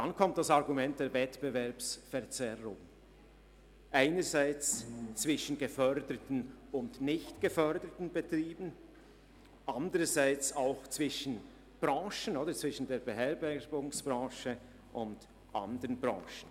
Hinzu kommt das Argument der Wettbewerbsverzerrung einerseits zwischen geförderten und nicht geförderten Betrieben und andererseits zwischen der Beherbergungsbranche und anderen Branchen.